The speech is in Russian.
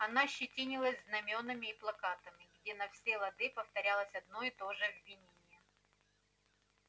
она щетинилась знамёнами и плакатами где на все лады повторялось одно и то же обвинение